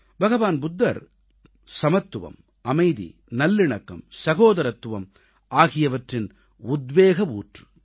பகவான் புத்தர் சமத்துவம் அமைதி நல்லிணக்கம் சகோதரத்துவம் ஆகியவற்றின் உத்வேக ஊற்று